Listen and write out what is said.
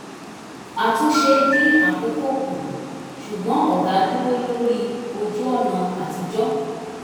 àtúnṣe dín àkókò kù ṣùgbọ́n ọ̀gá dúró lórí ojú-ọ̀nà àtijọ́